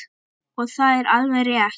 Og það er alveg rétt.